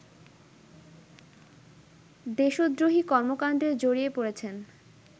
দেশদ্রোহী কর্মকাণ্ডে জড়িয়ে পড়েছেন